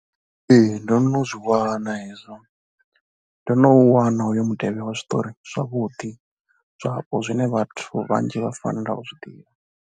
Ee, ndo no zwi wana hezwo, ndo no u wana hoyo mutevhe wa zwiṱori zwavhuḓi zwapo zwine vhathu vhanzhi vha fanela u zwi ḓivha.